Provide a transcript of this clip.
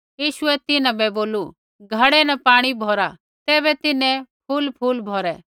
यीशुऐ तिन्हां बै बोलू घड़ै न पाणी भौरा तैबै तिन्हैं फूलफूल भौरै